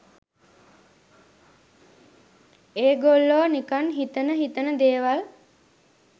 ඒගොල්ලෝ නිකන් හිතෙන හිතෙන දේවල්